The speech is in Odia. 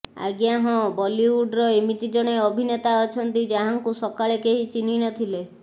ଆଜ୍ଞା ହଁ ବଲିଉଡର ଏମିତି ଜଣେ ଅଭିନେତା ଅଛନ୍ତି ଯାହାଙ୍କୁ ସକାଳେ କେହି ଚିହ୍ନି ନ ଥିଲେ